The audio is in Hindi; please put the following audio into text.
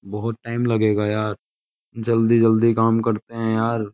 बहुत टाइम लगेगा यार जल्दी-जल्दी काम करते हैं यार --